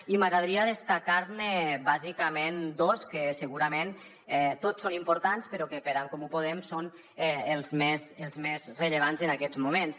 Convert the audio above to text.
i m’agradaria destacar ne bàsicament dos que segurament tots són importants però que per en comú podem són els més rellevants en aquests moments